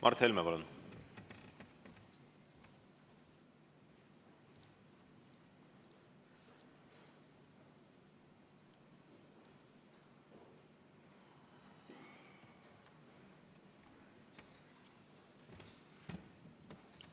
Mart Helme, palun!